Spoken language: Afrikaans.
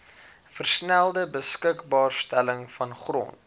versnelde beskikbaarstelling vangrond